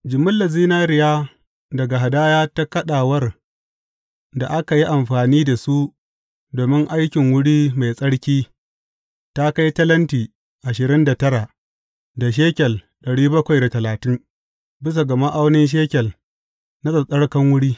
Jimillar zinariya daga hadaya ta kaɗawar da aka yi amfani da su domin aikin wuri mai tsarki ta kai talenti ashirin da tara da shekel bisa ga ma’aunin shekel na tsattsarkan wuri.